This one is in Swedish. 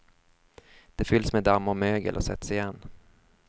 De fylls med damm och mögel och sätts igen.